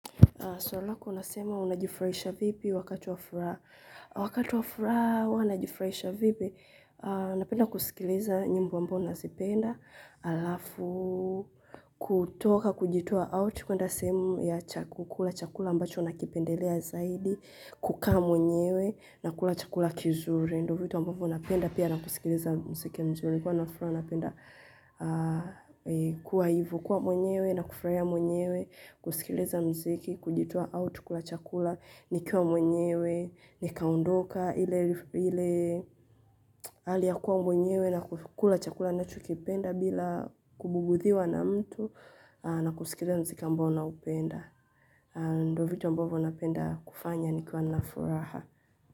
Swali lako unasema unajifrahisha vipi wakati wa furaha. Wakati wa furaha huwa najifurahisha vipi napenda kusikiliza nyimbo ambao nazipenda. Alafu, kutoka, kujitoa out. Kwenda sehemu ya kukula chakula ambacho nakipendelea zaidi. Kukaa mwenyewe na kula chakula kizuri. Ndio vitu ambavyo napenda pia na kusikiliza muziki mzuri. Kuwa na furaha napenda kuwa hivo kuwa mwenyewe na kufurahia mwenyewe. Kusikiliza muziki, kujitoa out kula chakula, nikiwa mwenyewe, nikaondoka, ile hali ya kuwa mwenyewe na kula chakula ninachokipenda bila kubugudhiwa na mtu na kusikiliza muziki ambao naupenda. Ndio vitu ambavyo napenda kufanya nikiwa na furaha.